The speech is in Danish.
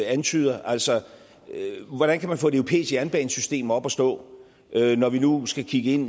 antyder altså hvordan kan man få et europæisk jernbanesystem op at stå når vi nu skal kigge ind